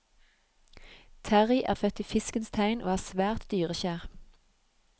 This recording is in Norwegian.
Terrie er født i fiskens tegn og er svært dyrekjær.